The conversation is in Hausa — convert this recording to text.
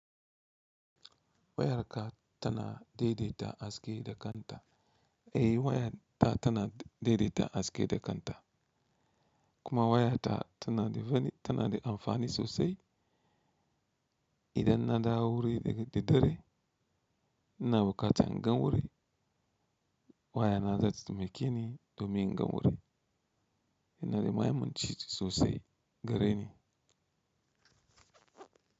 Wayarka tana daidaita haske da kanta? Eh waya ta tana daidaita haske da kanta. Kuma waya ta tana da amfani sosai. Idan na dawo wuri da dare ina bukatan inga wuri, waya na zata taimake ni domin inga wuri. Ina da mahimmanci sosai gare ni.